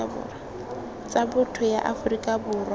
tsa botho ya aforika borwa